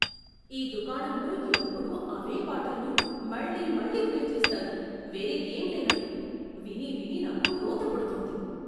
ఈ దుకాణంలో ఎప్పుడూ అవే పాటలను మళ్లీ మళ్లీ ప్లే చేస్తారు, వేరే ఏం లేనట్టు. వినీ వినీ నాకు రోత పుడుతోంది.